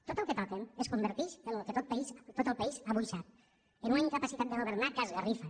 tot el que toquen es converteix en el que tot el país avui sap en una incapacitat de governar que esgarrifa